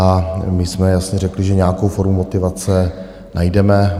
A my jsme jasně řekli, že nějakou formu motivace najdeme.